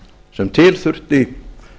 sem til þurfti